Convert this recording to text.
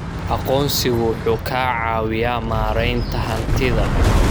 Aqoonsigu wuxuu ka caawiyaa maaraynta hantida.